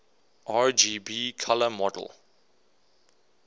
rgb color model